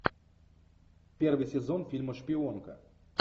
первый сезон фильма шпионка